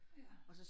Ja